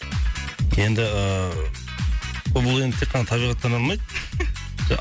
енді ыыы бұл енді тек қана табиғаттан алмайды